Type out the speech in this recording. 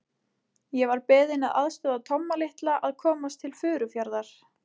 Ég var beðinn að aðstoða Tomma litla að komast til Furufjarðar.